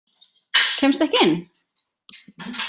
Kemstu ekki inn?